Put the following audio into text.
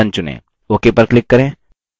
ok पर click करें